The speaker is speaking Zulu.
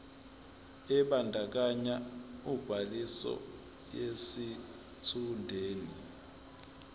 ebandakanya ubhaliso yesitshudeni